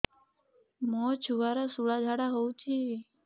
ମୋ ଛୁଆର ସୁଳା ଝାଡ଼ା ହଉଚି